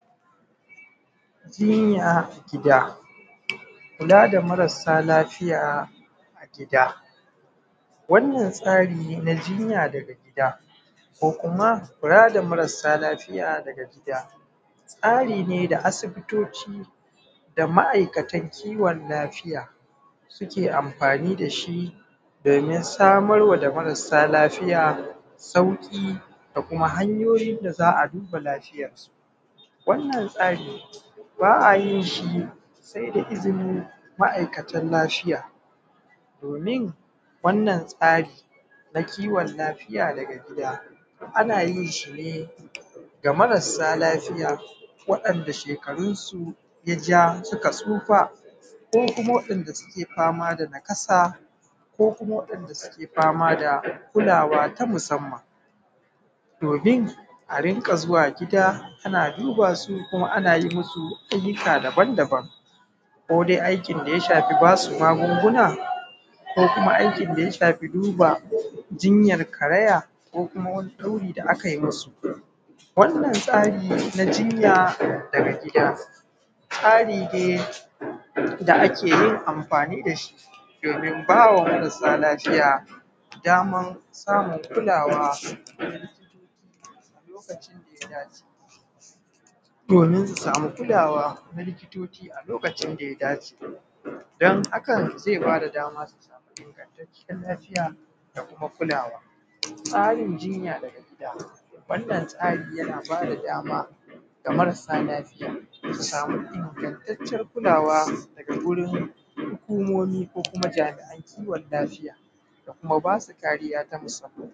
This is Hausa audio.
Jinya daga gida, kula da marasa lafiya a gida. Wannan tsari ne na jinya daga gida ko kuma kula da marasa lafiya daga gida, tsari ne da asibitoci da ma’aikatan na kiwon lafiya suke amfani da shi domin samarwa da da marasa lafiya sauƙi da kuma hanyoyin da za a duba lafiyarsu. Wannan tsari ba a yin shi sai da izinin ma’aikatan lafiya, domin wannan tsari na kiwon lafiya daga gida ana yin shi ne ga marasa lafiya waɗada shekarun su ya ja suka tsufa ko kuma waɗanda suke fama da nakasa, ko kuma waɗanda suke fama da kulawa ta musamman. Domin a rinƙa zuwa gida ana duba su, kuma ana yi masu ayyuka daban daban, ko dai aikin da ya shafi ba su magunguna, ko kuma aikin da ya shafi duba jinyar karaya, ko kuma wani ɗauri da aka yi masu. Wannan tsari na jinya daga gida tsari ne da ake yin amfani da shi domin ba wa marasa lafiya daman samun kulawa a lokaci da ya dace domin su sami kulawa na likitoci a lokacin da ya dace, don haka zai ba da dama su sami ingantatcen lafiya da kuma kulawa. Tsarin jinya daga wannan tsari yana ba da dama ga marasa lafiya su sami ingantatcen kulawa daga gurin hukumomi ko kuma jami'an kiwon lafiya da kuma ba su kariya ta musanman.